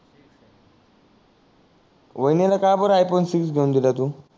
वाहिनी ला काबर आय फोन सिक्स घेऊन दिला आहे तू